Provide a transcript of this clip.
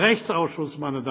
Der Rechtsausschuss